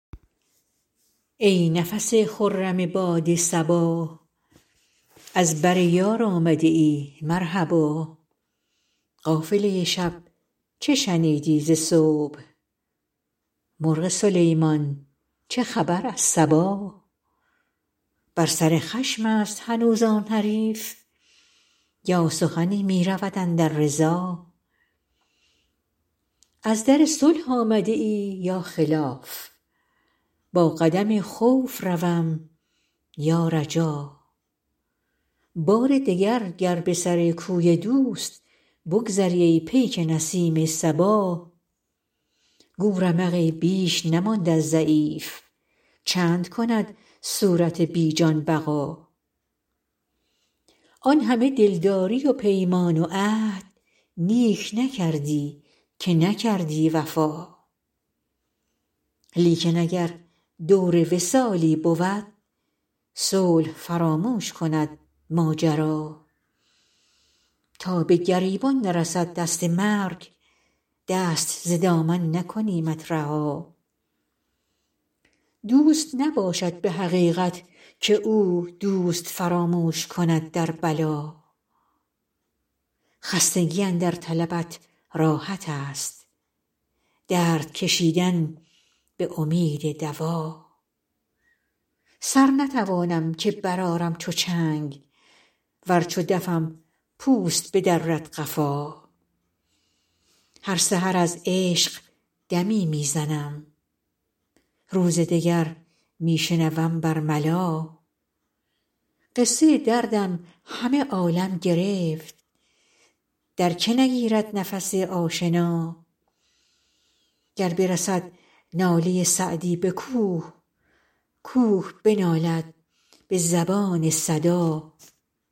ای نفس خرم باد صبا از بر یار آمده ای مرحبا قافله شب چه شنیدی ز صبح مرغ سلیمان چه خبر از سبا بر سر خشم است هنوز آن حریف یا سخنی می رود اندر رضا از در صلح آمده ای یا خلاف با قدم خوف روم یا رجا بار دگر گر به سر کوی دوست بگذری ای پیک نسیم صبا گو رمقی بیش نماند از ضعیف چند کند صورت بی جان بقا آن همه دلداری و پیمان و عهد نیک نکردی که نکردی وفا لیکن اگر دور وصالی بود صلح فراموش کند ماجرا تا به گریبان نرسد دست مرگ دست ز دامن نکنیمت رها دوست نباشد به حقیقت که او دوست فراموش کند در بلا خستگی اندر طلبت راحت است درد کشیدن به امید دوا سر نتوانم که برآرم چو چنگ ور چو دفم پوست بدرد قفا هر سحر از عشق دمی می زنم روز دگر می شنوم بر ملا قصه دردم همه عالم گرفت در که نگیرد نفس آشنا گر برسد ناله سعدی به کوه کوه بنالد به زبان صدا